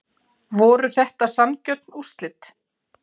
Voru þetta sanngjörn úrslit?